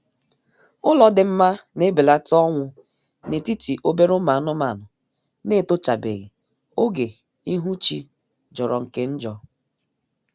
Ụlọ dị mma na-ebelata ọnwụ na-etiti obere ụmụ anụmanụ na-etochabeghi oge ihu chi jọrọ nke njọ